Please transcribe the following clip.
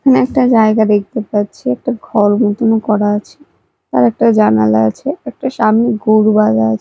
এখানে একটা জায়গা দেখতে পাচ্ছি একটা ঘর মতন করা আছে আর একটা জানালা আছে একটা সামনে গোরু বাঁধা আছে।